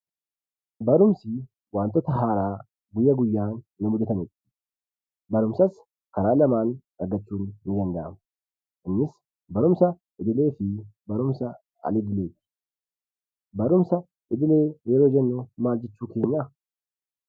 Barumsi wantoota haaraa guyya guyyaan nu mudatanidha. Barumsas karaa lamaan argachuun ni danda'ama. Innis barumsa idillee fi barumsa al-idillee. Barumsa idilee yeroo jennu maal jechuu keenyaa?